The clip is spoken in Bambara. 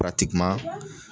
piratikeman